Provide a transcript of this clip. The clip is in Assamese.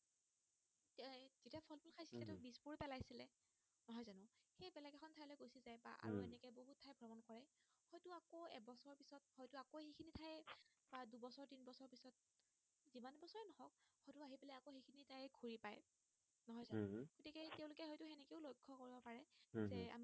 উম হম